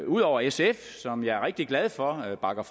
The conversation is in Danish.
ud over sf som jeg er rigtig glad for bakker